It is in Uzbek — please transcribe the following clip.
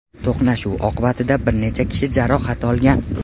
To‘qnashuv oqibatida bir necha kishi jarohat olgan.